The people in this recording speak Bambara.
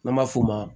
N'an b'a f'o ma